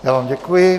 Já vám děkuji.